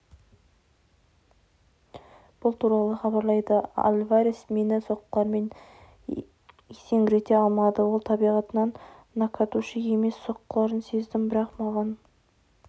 бұл туралы хабарлайды альварес мені соққыларымен есеңгірете алмады ол табиғатынан нокаутшы емес соққыларын сездім бірақ маған